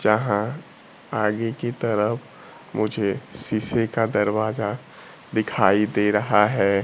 जहां आगे की तरफ मुझे सीसे का दरवाजा दिखाई दे रहा है।